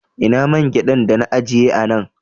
Ina man gyaɗan dana ajiye a nan